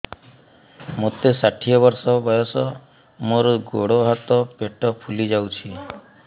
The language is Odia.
ମୋତେ ଷାଠିଏ ବର୍ଷ ବୟସ ମୋର ଗୋଡୋ ହାତ ପେଟ ଫୁଲି ଯାଉଛି